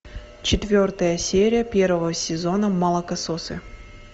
четвертая серия первого сезона молокососы